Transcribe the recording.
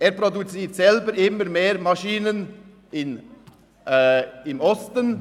Er produziert selber immer mehr Maschinen im Osten.